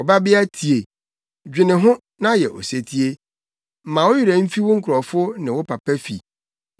Ɔbabea tie, dwene ho, na yɛ osetie; ma wo werɛ mfi wo nkurɔfo ne wo papa fi.